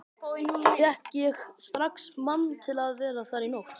Fékk ég strax mann til að vera þar í nótt.